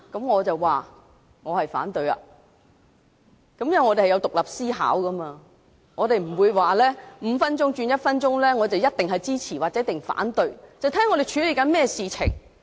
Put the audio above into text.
我反對，因為我們有獨立思考，我不會說由5分鐘縮短至1分鐘便一定支持或一定反對，要視乎我們正在處理甚麼事情。